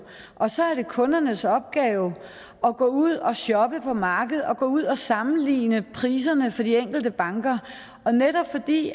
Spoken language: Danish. og så er det kundernes opgave at gå ud og shoppe på markedet gå ud og sammenligne priserne for de enkelte banker netop fordi